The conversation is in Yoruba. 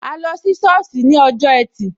A lọ sí sọ́ọ̀sì ní ọjọ́ ẹtì